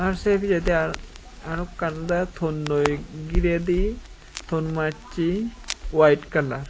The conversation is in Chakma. aro sei pijedi aro arokkan dey tonnoi giredi ton massey ohite kalar .